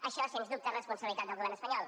això sens dubte és responsabilitat del govern espanyol